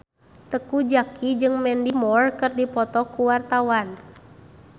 Teuku Zacky jeung Mandy Moore keur dipoto ku wartawan